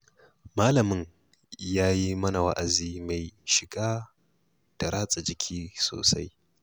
Malamin ya yi mana wa'azi mai shiga da ratsa jiki sosai.